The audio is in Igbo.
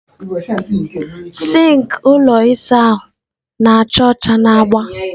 sink ụlọ ịsa ahụ na-acha ọcha na agba.